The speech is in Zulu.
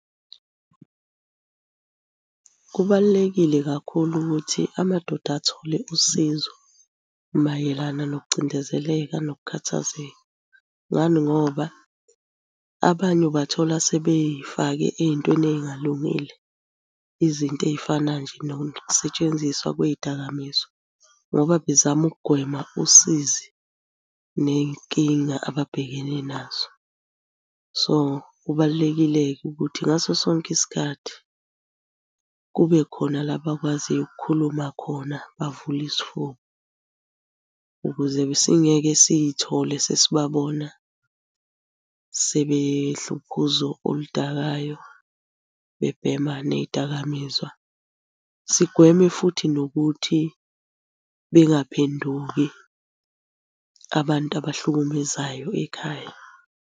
Kubalulekile kakhulu ukuthi amadoda athole usizo mayelana nokucindezeleka nokukhathazeka. Ngani ngoba abanye ubathola sebey'fake ey'ntweni ey'ngalungile. Izinto ey'fana nje nanokusetshenziswa kwey'dakamizwa ngoba bezama ukugwema usizi ney'nkinga ababhekene nazo. So, kubalulekile-ke ukuthi ngaso sonke isikhathi kube khona la abakwaziyo ukukhuluma khona bavule isifuba, ukuze besingeke siy'thole sesibabona sebedla uphuzo oludakayo, bebhema ney'dakamizwa. Sigweme futhi nokuthi bengaphenduki abantu abahlukumezayo ekhaya.